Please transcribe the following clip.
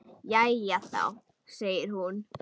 Jæja þá, segir hún.